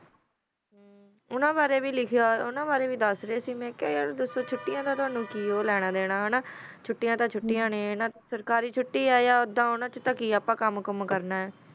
ਓਨਾ ਬਾਰਾ ਵੀ ਲਿਖਿਆ ਸੀ ਓਹਾ ਬਾਰਾ ਵੀ ਮਾ ਕ੍ਯਾ ਯਾਰ ਦਸੋ ਛੋਟਿਆ ਦਾ ਕੀ ਲਾਨਾ ਦਾਨਾ ਆ ਛੋਟਿਆ ਤਾ ਛੋਟਿਆ ਨਾ ਸਰਕਾਰੀ ਚੋਟੀ ਆ ਯਾ ਓਦਾ ਆ ਅਪਾ ਕਾਮ ਕੁਮ ਹੀ ਕਰਨਾ ਆ